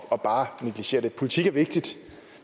af bare at negligere politik er vigtigt